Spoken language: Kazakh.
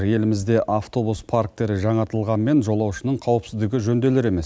елімізде автобус парктері жаңартылғанымен жолаушының қауіпсіздігі жөнделер емес